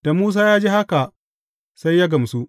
Da Musa ya ji haka, sai ya gamsu.